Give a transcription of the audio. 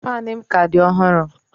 Fanu m ka di ọhụrụ